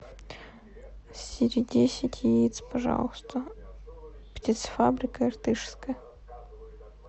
сири десять яиц пожалуйста птицефабрика иртышская